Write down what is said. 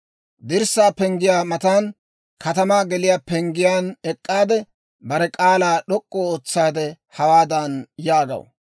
dirssaa penggiyaa matan, katamaa geliyaa penggiyaan ek'k'aade, bare k'aalaa d'ok'k'u ootsaade, hawaadan yaagaw;